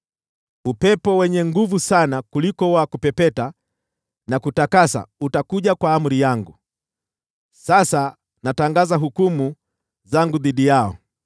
upepo wenye nguvu sana kuliko wa kupepeta na kutakasa utakuja kwa amri yangu. Sasa natangaza hukumu zangu dhidi yao.”